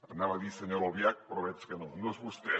anava a dir senyora albiach però veig que no no és vostè